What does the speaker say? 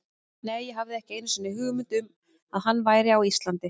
Nei, ég hafði ekki einu sinni hugmynd um að hann væri á Íslandi.